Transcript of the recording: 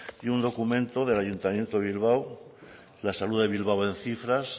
y un documento del ayuntamiento de bilbao la salud de bilbao en cifras